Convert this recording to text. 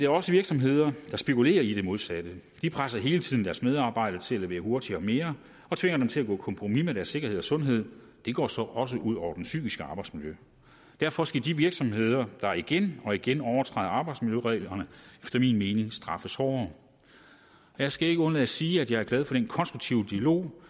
også virksomheder der spekulerer i det modsatte de presser hele tiden deres medarbejdere til at levere hurtigere og mere og tvinger dem til at gå på kompromis med deres sikkerhed og sundhed det går så også ud over det psykiske arbejdsmiljø derfor skal de virksomheder der igen og igen overtræder arbejdsmiljøreglerne efter min mening straffes hårdere jeg skal ikke undlade at sige at jeg er glad for den konstruktive dialog